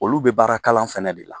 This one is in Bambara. Olu be baara kalan fɛnɛ de la.